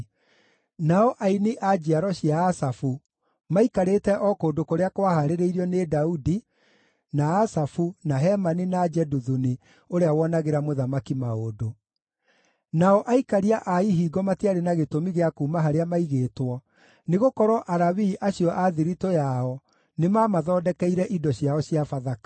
Nao aini a njiaro cia Asafu, maikarĩte o kũndũ kũrĩa kwahaarĩirio nĩ Daudi, na Asafu, na Hemani, na Jeduthuni ũrĩa woonagĩra mũthamaki maũndũ. Nao aikaria a ihingo matiarĩ na gĩtũmi gĩa kuuma harĩa maigĩtwo, nĩgũkorwo Alawii acio a thiritũ yao nĩmamathondekeire indo ciao cia Bathaka.